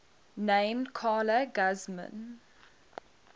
named carla guzman